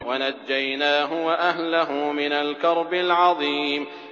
وَنَجَّيْنَاهُ وَأَهْلَهُ مِنَ الْكَرْبِ الْعَظِيمِ